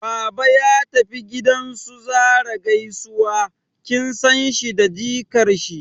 Baba ya tafi gidan su Zarah gaisuwa, kin san shi da jikar shi